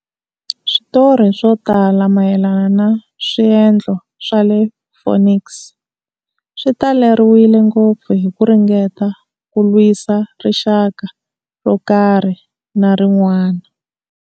Switori swo tala mayelana na swendlo swa le Phoenix swi taleriwile ngopfu hi ku ringeta ku lwisa rixaka ro karhi na rin'wana.